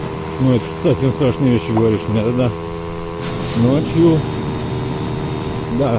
ну это уж совсем страшные вещи говоришь мне тогда ночью да